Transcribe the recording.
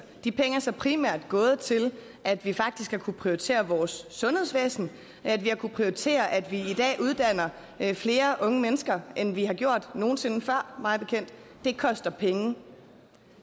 de penge er så primært gået til at vi faktisk har kunnet prioritere vores sundhedsvæsen at vi har kunnet prioritere at vi i dag uddanner flere unge mennesker end vi har gjort nogen sinde før det koster penge